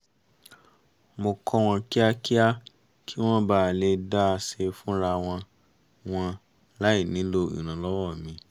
mo kọ́ wọn kíákíá kí wọ́n ba à lè dá a ṣe fúnra wọn wọn láì nílò ìrànlọ́wọ́ mi